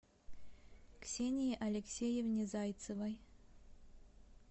ксении алексеевне зайцевой